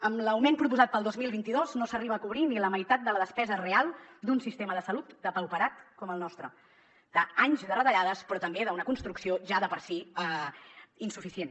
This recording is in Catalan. amb l’augment proposat per al dos mil vint dos no s’arriba a cobrir ni la meitat de la despesa real d’un sistema de salut depauperat com el nostre d’anys de retallades però també d’una construcció ja de per si insuficient